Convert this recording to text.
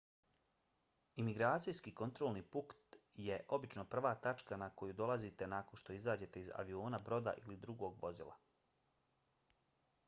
imigracijski kontrolni punkt je obično prva tačka na koju dolazite nakon što izađete iz aviona broda ili drugog vozila